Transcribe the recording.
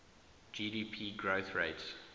gdp growth rates